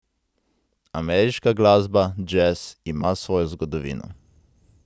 Ameriška glasba, džez, ima svojo zgodovino.